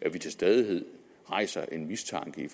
at vi til stadighed rejser en mistanke i